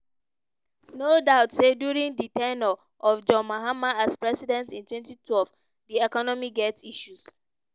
no doubt say during di ten ure of john mahama as president in 2012 di economy get issues.